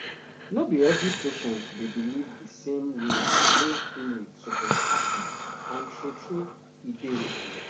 no be every patient dey believe di same way wey healing suppose happen and true true e dey okay